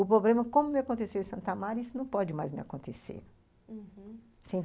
O problema, como me aconteceu em Santo Amaro, isso não pode mais me acontecer, uhum.